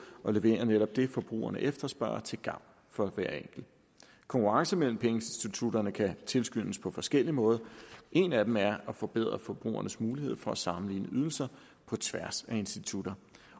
at levere netop det forbrugerne efterspørger til gavn for hver enkelt konkurrence mellem pengeinstitutterne kan tilskyndes på forskellige måder en af dem er at forbedre forbrugernes mulighed for at sammenligne ydelser på tværs af institutter